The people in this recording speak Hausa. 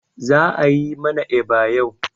Za'a yi mana eba yau.